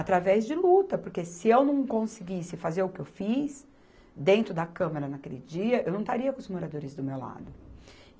Através de luta, porque se eu não conseguisse fazer o que eu fiz dentro da câmara naquele dia, eu não estaria com os moradores do meu lado.